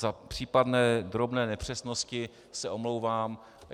Za případné drobné nepřesnosti se omlouvám.